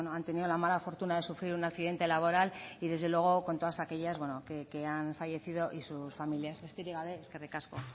han tenido la mala fortuna de sufrir un accidente laboral y desde luego con todas aquellas bueno que han fallecido y sus familias besterik gabe eskerrik asko